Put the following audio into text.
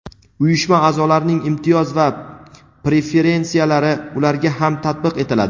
uyushma aʼzolarining imtiyoz va preferensiyalari ularga ham tatbiq etiladi.